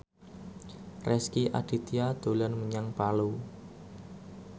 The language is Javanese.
Rezky Aditya dolan menyang Palu